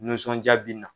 Nisɔndiya bin na